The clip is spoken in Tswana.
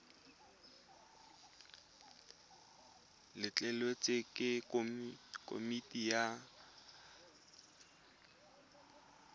letleletswe ke komiti ya ikwadiso